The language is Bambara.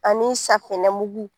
Ani safinɛmugu